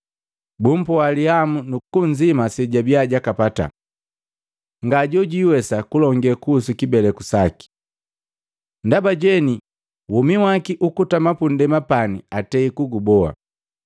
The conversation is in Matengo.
Bumpoa lihamu nukunzima sejabia jakapata. Ngajojwiwesa kulonge kuhusu kibeleku saki, ndaba jeni womi waki ukutama punndema pani atei kuguboa.”